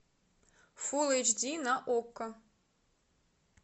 фул эйч ди на окко